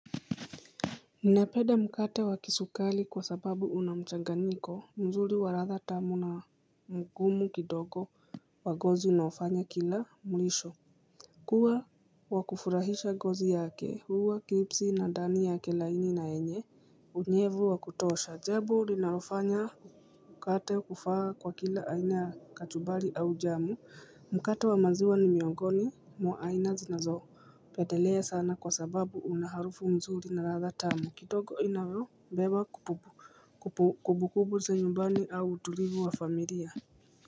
Ninapeda mkate wa kisukali kwa sababu una mchaganiko, mzuli wa ratha tamu na mgumu kidogo wagozi naofanya kila mlisho. Kuwa wa kufurahisha gozi yake, huwa kipsi na dani yake layini na enye, unyevu wa kutosha ajabu. Ninaofanya mkate kufaa kwa kila aina ya kachumbali au jam, mkate wa maziwa ni miongoni mwa aina zinazopetelea sana kwa sababu una harufu nzuri na ladha tamu kidogo inayobeba kumbukumbu za nyumbani au utulivu wa familia.